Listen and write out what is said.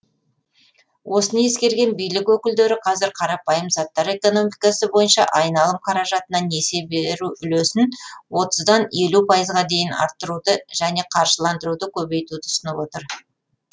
осыны ескерген билік өкілдері қазір қарапайым заттар экономикасы бойынша айналым қаражатына несие беру үлесін отыздан елу пайызға дейін арттыруды және қаржыландыруды көбейтуді ұсынып отыр